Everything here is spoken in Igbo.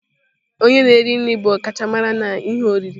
Onye na-eri nri bụ ọkachamara n'ihe oriri.